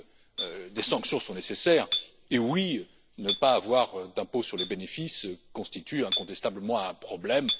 Oui, des sanctions sont nécessaires et oui, ne pas avoir d'impôt sur les bénéfices constitue incontestablement un problème.